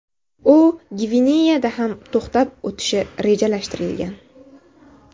U Gvineyada ham to‘xtab o‘tishi rejalashtirilgan.